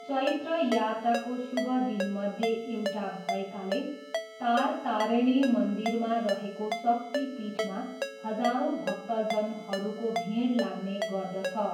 चैत्र यात्राको शुभ दिनमध्ये एउटा भएकाले तारतारिणी मन्दिरमा रहेको शक्तिपीठमा हजारौँ भक्तजनहरूको भिड लाग्ने गर्दछ।